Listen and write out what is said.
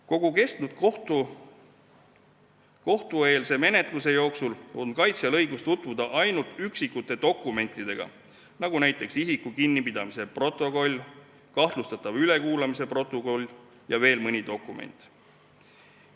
Kogu kohtueelse menetluse jooksul on kaitsjal õigus tutvuda ainult üksikute dokumentidega, nagu näiteks isiku kinnipidamise protokoll, kahtlustatava ülekuulamise protokoll ja veel mõni dokument.